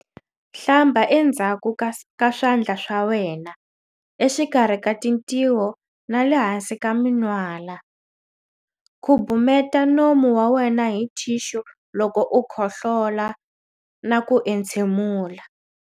Hlamba endzhaku ka swandla swa wena, exikarhi ka tintiho na le hansi ka min'wala. Khubumeta nomu wa wena hi thixu loko u khohlola na ku entshemula.